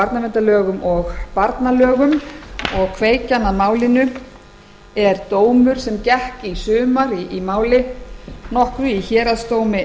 barnaverndarlögum og barnalögum og er kveikjan dómur sem gekk í sumar í máli nokkru í héraðsdómi